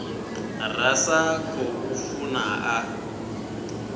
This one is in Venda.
ra sa khou funa a